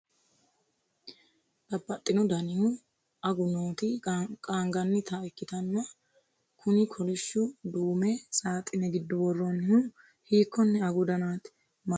babbaxino danihu agu nooti qaanqanita ikkitanna? kuni kolishshu duume saaxine giddo worroonihu hiikkonne agu danaati? mannu agatto agannohu mayiiraati ?